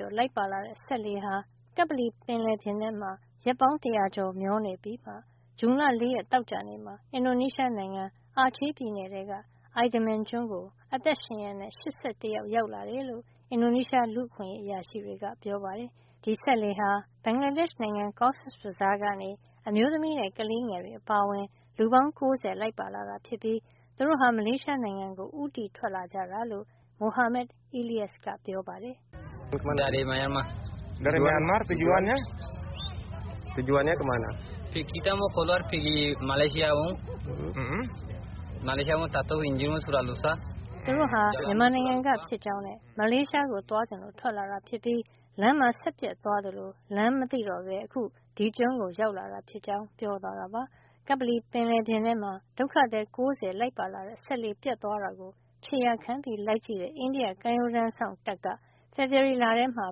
ျော်လိုက်ပါလာတဲ့ စက်လှေဟာ ကပ္ပလီပင်လယ်ပြင်ထဲမှာ ရက်ပေါင်း တရာကျော် မျောနေပြီးမှာ ဇွန်လ ၄ ရက် သောကြာနေ့မှာ အင်ဒိုနီးရှားနိုင်ငံ အာချယ်ပြည်နယ်ထဲက Idaman ကျွန်းကို အသက်ရှင်ရက် ၈၁ ယောက် ရောက်လာတယ်လို့ အင်ဒိုနီးရှား လူ့အခွင့်ရေးအရာရှိတွေက ပြောပါတယ်။ ဒီစက်လှေဟာ ဘင်္ဂလားဒေ့ရှ် နိုင်ငံ Cox's Bazar ကနေ အမျိုးသမီးနဲ့ ကလေးငယ်တွေ အပါအဝင် လူပေါင်း ၉၀ လိုက်ပါလာတာ ဖြစ်ပြီး သူတို့ဟာ မလေးရှားနိုင်ငံကို ဦးတည်ထွက်လာကြတာလို့ သင်္ဘောပေါ်မှာ လိုက်ပါလာတဲ့ မိုဟာမက် Eliyas က ပြောပါတယ်။ သူတို့ဟာ မြန်မာနိုင်ငံကဖြစ်ကြောင်းနဲ့ မလေးရှားကို သွားချင်လို့ ထွက်လာတာ ဖြစ်ပြီး လမ်းမှာ စက်ပျက်သွားသလို လမ်းမသိတော့ပဲ အခု ဒီကျွန်းကိုရောက်လာတာဖြစ်ကြောင်း ပြောသွားတာပါ။ ကပ္ပလီပင်လယ်ပြင်ထဲမှာ ဒုက္ခသည် ၉၀ လိုက်ပါလာတဲ့ စက်လှေ ပျက်သွားတာကို ခြေရာခံလိုက်ကြည့်တဲ့ အိန္ဒိယ ကမ်းရိုးတန်းစောင့်တပ်က ဖေဖေါ်ဝါရီလထဲမှာ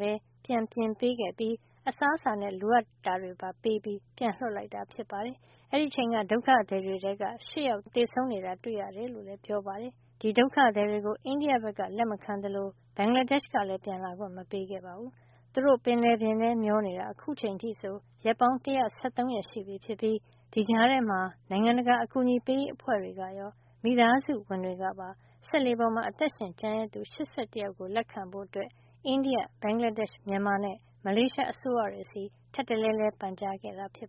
ပဲ ပြန်ပြင်ပေးခဲ့ပြီး အစားအစာနဲ့ လိုအပ်တာတွေ ပေးပြီး ပြန်လွှတ်လိုက်တာ ဖြစ်ပါတယ်။ အဲဒီအချိန်က ဒုက္ခသည်တွေထဲက ၈ ယောက် သေဆုံးနေတာကို သူတို့ တွေ့ခဲ့ရ တယ်လို့လည်း ပြောပါတယ်။ ဒီဒုက္ခသည်တွေကို အိန္ဒိယက လက်မခံသလို ဘင်္ဂလာဒေ့ရှ် ကလည်း ပြန်လာခွင့် မပေးခဲ့ပါဘူး။ သူတို့ ပင်လယ်ထဲ မျောနေတာ အခုချိန်အထိဆို ရက်ပေါင်း ၁၁၃ ရက်ရှိပြီဖြစ်ပြီး ဒီကြားထဲမှာ နိုင်ငံတကာ အကူအညီပေးရေး အဖွဲ့တွေကရော မိသားစုဝင်တွေကပါ စက်လှေပေါ်မှာ အသက်ရှင် ကျန်ရစ်သူ ၈၁ ယောက်ကို လက်ခံဖို့ အိန္ဒိယ၊ ဘင်္ဂလားဒေ့ရှ်၊ မြန်မာနဲ့ မလေးရှား အစိုးရတွေဆီ ထပ်တလဲလဲ ပန်ကြားခဲ့တာပါ